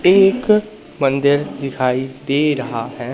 एक मंदिर दिखाई दे रहा है।